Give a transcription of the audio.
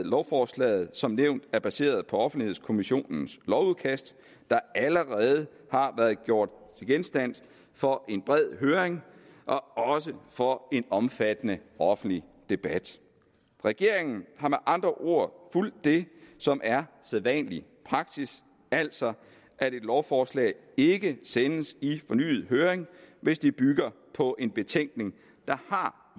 lovforslaget som nævnt er baseret på offentlighedskommissionens lovudkast der allerede har været gjort til genstand for en bred høring og også for en omfattende offentlig debat regeringen har med andre ord fulgt det som er sædvanlig praksis altså at et lovforslag ikke sendes i fornyet høring hvis det bygger på en betænkning der har